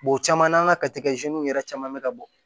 o caman na an ka yɛrɛ caman bɛ ka bɔ